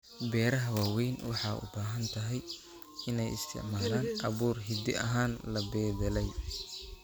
Beeraha waaweyn waxay u badan tahay inay isticmaalaan abuur hidde ahaan la beddelay.